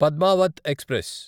Padmavat express